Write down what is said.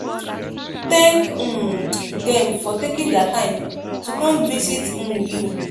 thank um them for taking their time to come visit um you